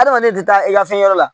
Adamaden tɛ taa i ka fɛn wɛrɛ la